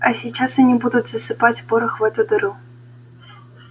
а сейчас они будут засыпать порох в эту дыру